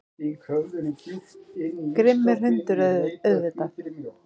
Grimmur hundur, auðvitað.